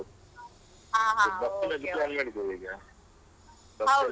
ಹಾ ಹಾ okay ಹೌದಾ.